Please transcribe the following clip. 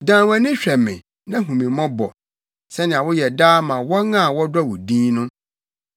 Dan wʼani hwɛ me na hu me mmɔbɔ sɛnea woyɛ daa ma wɔn a wɔdɔ wo din no.